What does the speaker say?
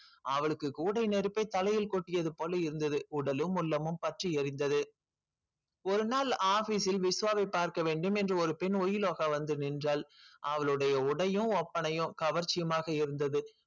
அவளுக்கு கூடை நெருப்பை தலையில் கொட்டியது போல் இருந்தது உடலும் உள்ளமும் பற்றி எரிந்தது ஒருநாள் office விஷ்வாவை பார்க்க வேண்டும் என்று ஒரு பெண் வந்து நின்றாள். அவலோடைய உடையும் ஒப்பனையும் கவர்ச்சியமாக இருந்தது.